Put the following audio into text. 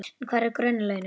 En hver eru grunnlaunin?